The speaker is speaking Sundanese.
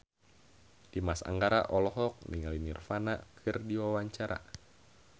Dimas Anggara olohok ningali Nirvana keur diwawancara